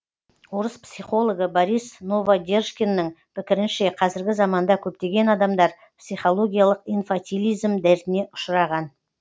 орыс психологы борис новодержкиннің пікірінше қазіргі заманда көптеген адамдар психологиялық инфатилизм дертіне ұшыраған